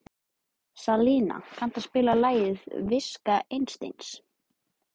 Salína, kanntu að spila lagið „Viska Einsteins“?